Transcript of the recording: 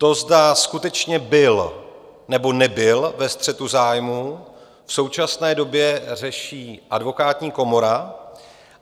To, zda skutečně byl, nebo nebyl ve střetu zájmů, v současné době řeší Advokátní komora.